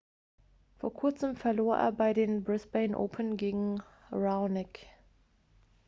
vor kurzem verlor er bei den brisbane open gegen raonic